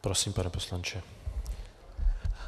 Prosím, pane poslanče.